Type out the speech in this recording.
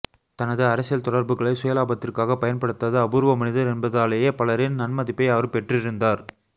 தனது அரசியல் தொடர்புகளை சுயலாபத்திற்காக பயன்படுத்தாத அபூர்வ மனிதர் என்பதாலேயே பலரின் நன்மதிப்பை அவர் பெற்றிருந்தார்